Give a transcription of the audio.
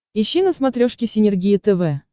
ищи на смотрешке синергия тв